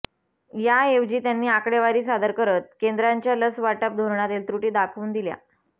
याऐवजी त्यांनी आकडेवारी सादर करत केंद्राच्या लसवाटप धोरणातील त्रुटी दाखवून दिल्या